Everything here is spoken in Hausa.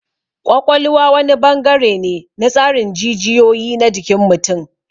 Ƙwaƙwalwa wani bangare ne na tsarin jijiyoyi na jikin mutum.